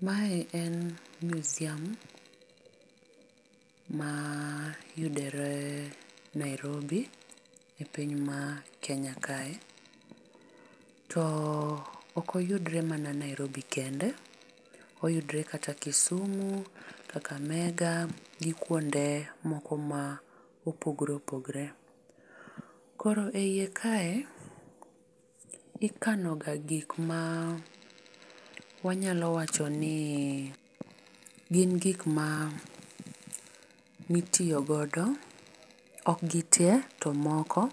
Mae en museum mayudore Nairobi e piny mar Kenya kae. To okoyudore mana Nairobi kende. Oyudore kata Kisumu, kakamega gi kuonde moko ma opogore opogore. Koro e iye kae, ikanoga gik ma wanyalo wacho ni gin gik ma, mitiyo godo, ok gite, to moko ma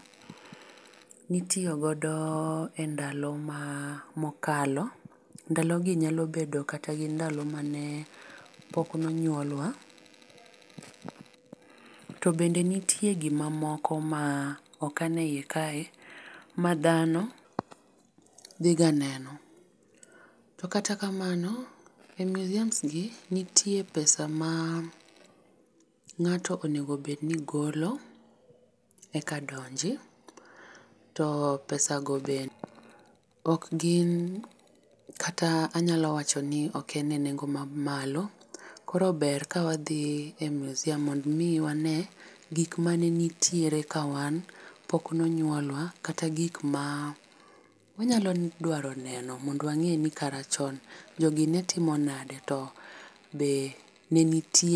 itiyo godo e ndalo ma, mokalo. Ndalo gi nyalo bedo kata gi ndalo mane pokno nyuolwa. To bende nitie gima moko ma okan e iye kae, ma dhano dhi ga neno. To kata kamano e museums gi nitie pesa ma ng'ato onego bed ni golo eka donji. To pesa go be ok gin kata anyalo wacho ni ok en e nengo ma mamalo. Koro ber ka wadhi e museum mondo omi wane gik mane nitie ka wan pok nonyuolwa, kata gik ma wanyalo dwaro neno, mondo wang'e ni kara chon jogi netimo nade, to be ne nitie